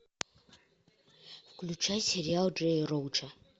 включай сериал джея роуча